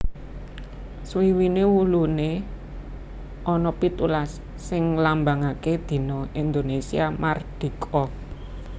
Swiwiné wuluné ana pitulas sing nglambangaké dina Indonésia mardika